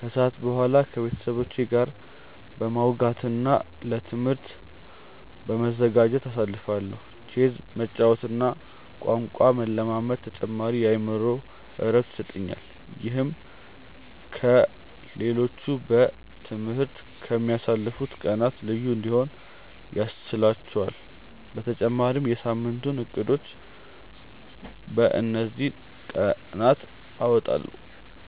ከሰዓት በኋላ ከቤተሰቦቼ ጋር በማውጋትና ለትምህርቴ በመዘጋጀት አሳልፋለሁ። ቼዝ መጫወትና ቋንቋ መለማመድም ተጨማሪ የአእምሮ እረፍት ይሰጡኛል። ይህም ከ ሌሎቹ በ ትምህርት ከ ምያልፉት ቀናት ልዩ እንዲሆኑ ያስችህላቹአል በተጨማሪም የ ሳምንቱን እቅዶችን በ እንዚህ ቀናት አወጣለሁ።